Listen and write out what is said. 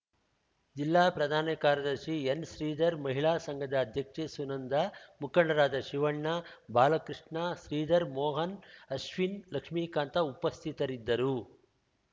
ಜಿಲ್ಲಾ ಪ್ರಧಾನ ಕಾರ್ಯದರ್ಶಿ ಎನ್‌ಶ್ರೀಧರ್‌ ಮಹಿಳಾ ಸಂಘದ ಅಧ್ಯಕ್ಷೆ ಸುನಂದ ಮುಖಂಡರಾದ ಶಿವಣ್ಣ ಬಾಲಕೃಷ್ಣ ಶ್ರೀಧರ್‌ ಮೋಹನ್‌ ಅಶ್ವಿನ್‌ ಲಕ್ಷ್ಮಿಕಾಂತ ಉಪಸ್ಥಿತರಿದ್ದರು